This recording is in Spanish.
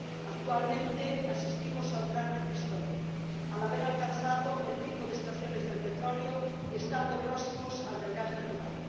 Actualmente asistimos a un gran reto histórico al haber alcanzado el pico de extracciones de petróleo y estando próximos al del gas natural.